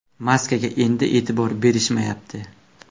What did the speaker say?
Maskaga endi e’tibor berishmayapti.